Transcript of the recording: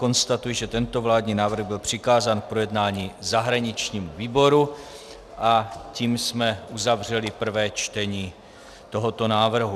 Konstatuji, že tento vládní návrh byl přikázán k projednání zahraničnímu výboru, a tím jsme uzavřeli prvé čtení tohoto návrhu.